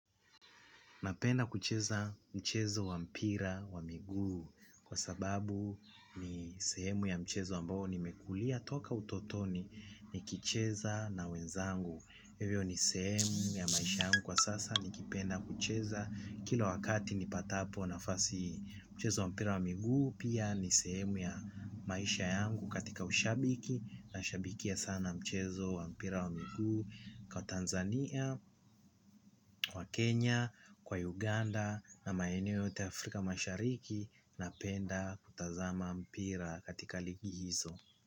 Napenda kucheza mchezo wa mpira wa miguu kwa sababu ni sehemu ya mchezo ambao nimekulia toka utotoni, nikicheza na wenzangu. Hivyo ni sehemu ya maisha yangu kwa sasa nikipenda kucheza kila wakati nipatapo nafasi mchezo wa mpira wa miguu. Pia nisemu ya maisha yangu katika ushabiki. Na ushabikia sana mchezo wa mpira wa miguu kwa Tanzania, kwa Kenya, kwa Uganda. Na maeneo yote Afrika mashariki. Napenda kutazama mpira katika ligi hizo.